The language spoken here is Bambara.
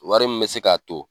Wari min bɛ se k'a to